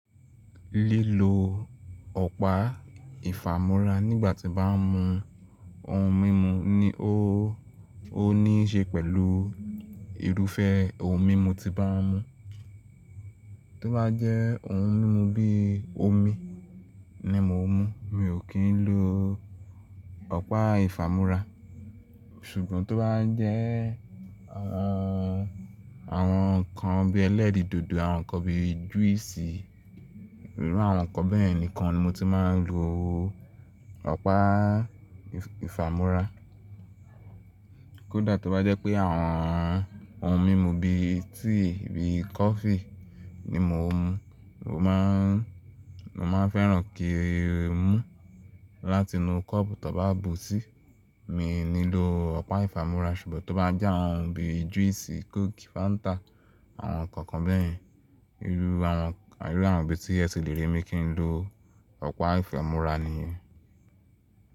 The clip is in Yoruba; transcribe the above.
Lílo ọ̀pá ìfàmúrà nígbà tí bá ń mu ohun mímu ni ó, ó níí ṣe pẹ̀lú irúfẹ́ ohun mímu tí bá ń mu. Tó bá jẹ́ ohun mímu bí i omi ni mo ń mu, mi ò kí ń lo ọ̀pá ìfàmúrà. Ṣùgbọ́n tó bá jẹ́ àwọn, àwọn nǹkan bí ẹlẹ́rìndòdò, àwọn nǹkan bí júísì, irú àwọn nǹkan bẹ́ẹ̀ nìkan ni mo ti máa ń lo ọ̀pá ìfàmúrà. Kódà tó bá jẹ́ pé àwọn ohun mímu bí tíì, bí kọfí ni mo ń mu, mo máa ń, mo máa fẹ́ràn kí ń mú láti inú kọ́ọ̀bù tó bá bù síi. Mi ò ní lo ọ̀pá ìfàmúrà, ṣùgbọ́n tó bá jẹ́ àwọn ohun bí júísì, kóòkì, fáńtà, àwọn nǹkan kan bẹ́ẹ̀, irú àwọn, irú àwọn bí tí ẹ ti lè rí mi kí ń lo ọ̀pá ìfàmúrà nìyẹn.